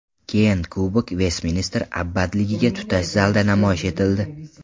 Keyin kubok Vestminster abbatligiga tutash zalda namoyish etildi.